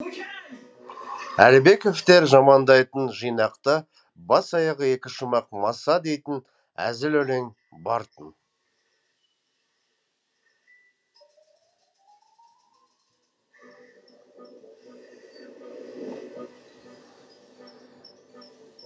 әлібековтер жамандайтын жинақта бас аяғы екі шумақ маса дейтін әзіл өлең бар тын